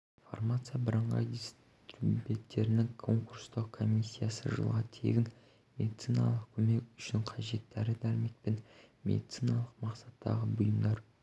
фармация бірыңғай дистрибьютерінің конкурстық комиссиясы жылға тегін медициналық көмек үшін қажет дәрі-дәрмек пен медициналық мақсаттағы бұйымдар